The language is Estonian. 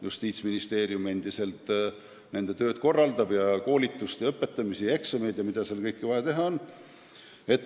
Justiitsministeerium endiselt korraldab nende tööd, koolitust, eksameid ja mida seal kõike vaja teha on.